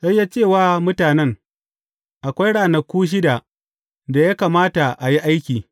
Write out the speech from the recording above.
Sai ya ce wa mutanen, Akwai ranaku shida da ya kamata a yi aiki.